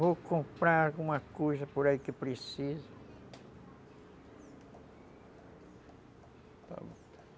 Vou comprar alguma coisa por aí que precisa